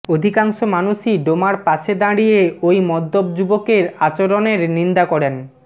অধিকাংশ মানুষই ডোমার পাশে দাঁড়িয়ে ওই মদ্যপ যুবকের আচরণের নিন্দা করেন